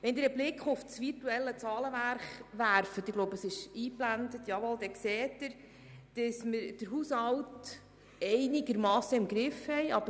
Wenn Sie einen Blick auf das virtuelle Zahlenwerk werfen – ich glaube, es ist eingeblendet, ja, das ist der Fall –, dann sehen Sie, dass wir den Haushalt einigermassen im Griff haben.